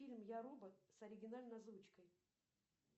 фильм я робот с оригинальной озвучкой